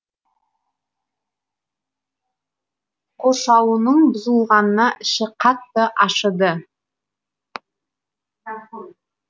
қоршауының бұзылғанына іші қатты ашыды